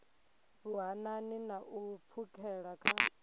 vhuhanani na u pfukhela kha